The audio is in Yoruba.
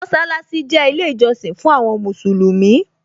Mósálásí jẹ́ ilé ìjọsìn fún àwọn Mùsùlùmí